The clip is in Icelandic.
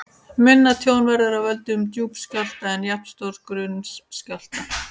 Minna tjón verður af völdum djúps skjálfta en jafnstórs grunns skjálfta.